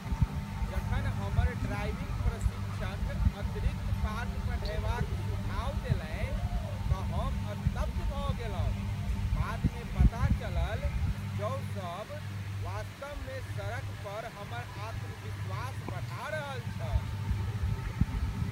जखन हमर ड्राइविन्ग प्रशिक्षक अतिरिक्त पाठ पढ़यबाक सुझाव देलनि तँ हम स्तब्ध भऽ गेलहुँ। बादमे पता चलल जओ सभ वास्तवमे सड़कपर हमर आत्मविश्वास बढ़ा रहल छल।